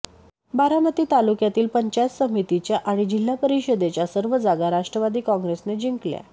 बारामती तालुक्यातील पंचायत समितीच्या आणि जिल्हा परिषदेच्या सर्व जागा राष्ट्रवादी काँगेसने जिंकल्या